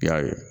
I y'a ye